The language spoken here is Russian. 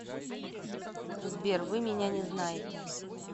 сбер вы меня не знаете